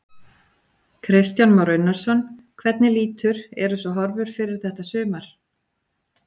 Kristján Már Unnarsson: Hvernig lítur, eru svo horfur fyrir þetta sumar?